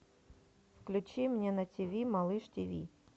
включи мне на ти ви малыш ти ви